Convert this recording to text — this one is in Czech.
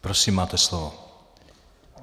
Prosím, máte slovo.